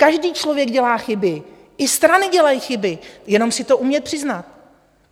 Každý člověk dělá chyby, i strany dělají chyby, jenom si to umět přiznat.